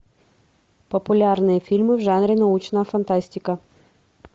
популярные фильмы в жанре научная фантастика